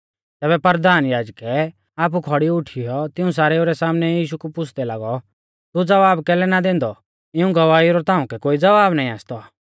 तैबै परधान याजकै आपु खौड़ी उठीयौ तिऊं सारेउ रै सामनै यीशु कु पुछ़दै लागौ तू ज़वाब कैलै ना दैंदौ इऊं गवाइऊ रौ ताउंकै कोई ज़वाब नाईं आसतौ